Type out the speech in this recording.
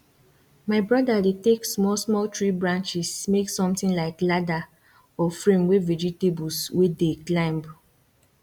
my brother dey take smallsmall tree branches make something like ladder or frame wey vegetables wey dey climb